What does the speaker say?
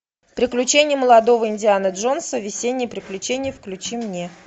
приключения молодого индианы джонса весенние приключения включи мне